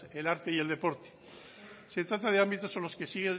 el arte y el deporte se trata de ámbitos en los que sigue